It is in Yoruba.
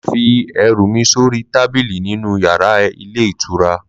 Mà á fi ẹrú mí sori tábìlì nínu yàrá ilé ìtura?